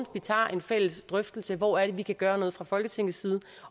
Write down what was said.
tager en fælles drøftelse af hvor det er vi kan gøre noget fra folketingets side